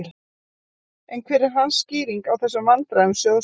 En hver er hans skýring á þessum vandræðum sjóðsins?